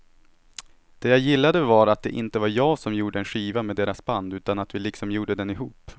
Det jag gillade var att det inte var jag som gjorde en skiva med deras band utan att vi liksom gjorde den ihop.